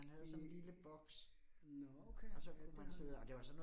Øh nåh okay, øh med hånden